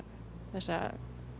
þessa